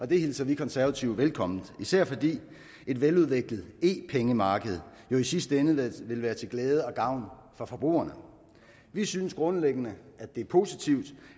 det hilser vi konservative velkommen især fordi et veludviklet e pengemarked jo i sidste ende vil være til glæde og gavn for forbrugerne vi synes grundlæggende det er positivt